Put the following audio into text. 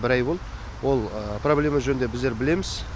бір ай болды ол проблема жөнінде біздер білеміз